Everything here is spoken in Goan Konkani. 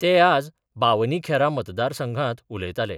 ते आज बावनी खेरा मतदारसंघांत उलयताले.